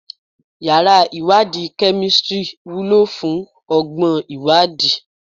Yàrá ìwádìí kemistri wúlò fún ọgbọ́n ìwádìí